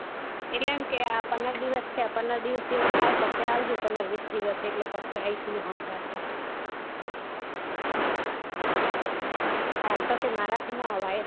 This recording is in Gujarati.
એટલે એમ કે આ પંદર દિવસ થયા પંદર દિવસ જેવું થાય પછી આવજો પંદર વીસ દિવસ એટલે પછી આઇસ મુ હન્ગાથે હાલ તો કે મારા થી ના આવ્યે